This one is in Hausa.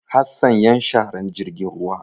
Hassan yan sharar jirgin ruwa.